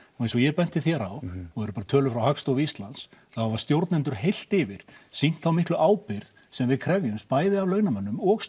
eins og ég benti þér á og eru tölur frá Hagstofu Íslands þá hafa stjórnendur heilt yfir sýnt þá miklu ábyrgð sem við krefjumst bæði af launamönnum og